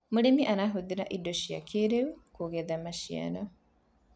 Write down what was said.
mũrĩmi arahuthira indo cia kĩiriu kugetha maciaro